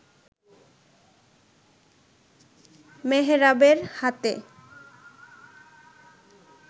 মেহরাবের হাতে